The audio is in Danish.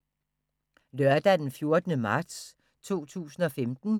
Lørdag d. 14. marts 2015